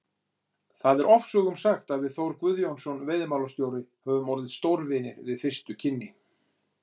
Það er ofsögum sagt að við Þór Guðjónsson veiðimálastjóri höfum orðið stórvinir við fyrstu kynni.